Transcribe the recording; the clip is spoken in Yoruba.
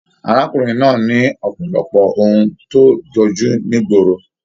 Arákùnrin náà ní ọpọlọpọ òun to jọjú nigboro.